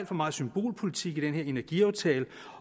for meget symbolpolitik i den her energiaftale